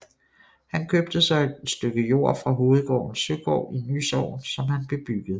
Han købte så en stykke jord fra hovedgården Søgård i Ny Sogn som han bebyggede